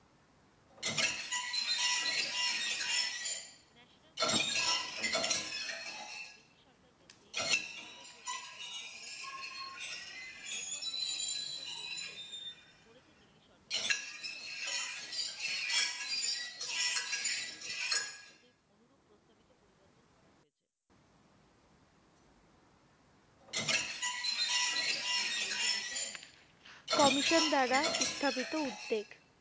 Commission দ্বারা উত্থাপিত উদ্বেগ